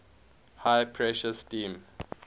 high pressure steam